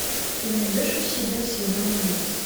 ты найдешь у себя сезон убийц